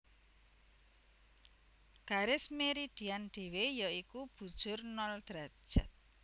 Garis Meridian dhéwé ya iku bujur nol derajat